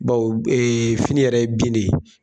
Bawo b fini yɛrɛ ye bin de ye.